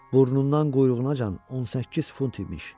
Burnundan quyruğunacan 18 fut imiş.